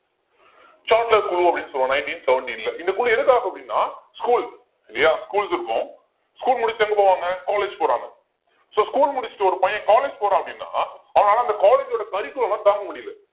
Sadler குழு அப்படின்னு சொல்~ nineteen seventeen ல இந்த குழு எதுக்காக அப்படின்னா school இல்லையா schools இருக்கும் school முடிச்சுட்டு எங்க போவாங்க college போறாங்க so school முடிச்சிட்டு ஒரு பையன் college போறான் அப்படின்னா அவனால அந்த college ஓட curriculum அ தாங்க முடியலை